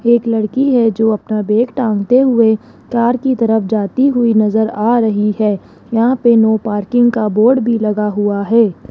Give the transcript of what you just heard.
एक लड़की है जो अपना बैग टांगते हुए कार की तरफ जाती हुई नज़र आ रही है यहां पे नो पार्किंग का बोर्ड भी लगा हुआ है।